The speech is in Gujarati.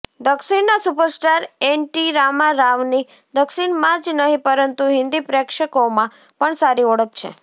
દક્ષિણના સુપરસ્ટાર એનટી રામા રાવની દક્ષિણમાં જ નહીં પરંતુ હિન્દી પ્રેક્ષકોમાં પણ સારી ઓળખ છે